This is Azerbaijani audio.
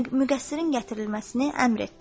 Müqəssirin gətirilməsini əmr etdi.